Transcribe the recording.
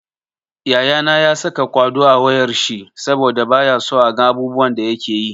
Yayana ya saka kwaɗo a wayar shi saboda bayaso a ga abubuwan da yakeyi.